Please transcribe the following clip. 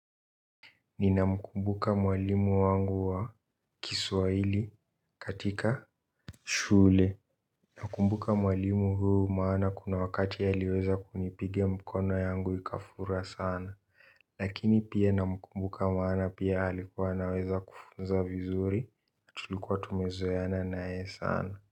Nina mkumbuka mwalimu wangu wa Kiswaili katika shule. Nakumbuka mwalimu huu maana kuna wakati aliweza kunipiga mkono yangu ikafura sana. Lakini pia namkumbuka maana pia alikuwa anaweza kufunza vizuri tulikuwa tumezoeana naye sana.